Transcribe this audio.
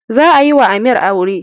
Za a yiwa amir aure